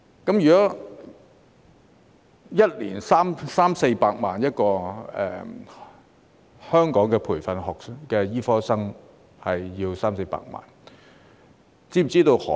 按5年三四百萬元計算，一名香港培訓的醫科生便需要三四百萬元。